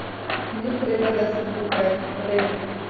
Ni treba, da si tukaj, res.